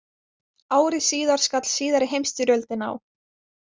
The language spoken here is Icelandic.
Ári síðar skall síðari heimsstyrjöldin á.